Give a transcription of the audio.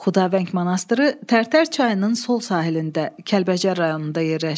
Xudavəng monastırı Tərtər çayının sol sahilində Kəlbəcər rayonunda yerləşir.